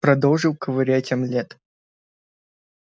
продолжил ковырять омлет